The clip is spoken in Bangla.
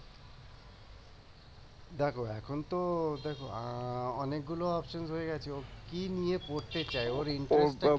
দেখো এখন তো দেখো অনেকগুলো options হয়ে গেছে কি নিয়ে পড়তে চাই ওর